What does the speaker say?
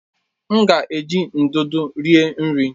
M ga-eji ndụdụ rie nri.